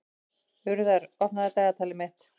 Urðar, opnaðu dagatalið mitt.